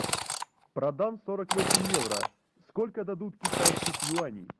продам сорок восемь евро сколько дадут китайских юаней